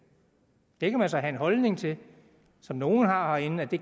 det kan man så have den holdning til som nogle har herinde at det